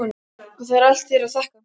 Og það er allt þér að þakka!